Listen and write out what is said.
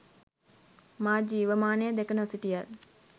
මා ජීවමානව දැක නොසිටියත්